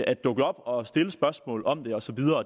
at dukke op og stille spørgsmål om det osv og